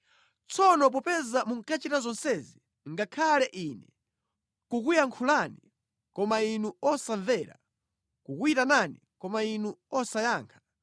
Tsono popeza munkachita zonsezi, ngakhale Ine kukuyankhulani koma inu osamvera, kukuyitanani koma inu osayankha,